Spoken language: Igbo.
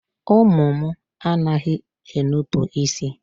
Ụmụ mụ a naghị enupu isi.